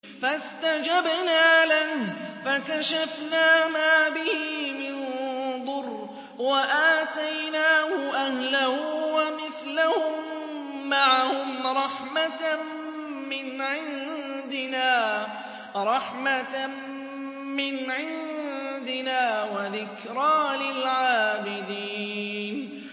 فَاسْتَجَبْنَا لَهُ فَكَشَفْنَا مَا بِهِ مِن ضُرٍّ ۖ وَآتَيْنَاهُ أَهْلَهُ وَمِثْلَهُم مَّعَهُمْ رَحْمَةً مِّنْ عِندِنَا وَذِكْرَىٰ لِلْعَابِدِينَ